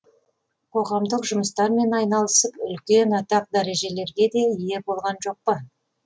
қоғамдық жұмыстармен айналысып үлкен атақ дәрежелерге де ие болған жоқ па